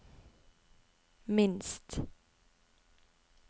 minst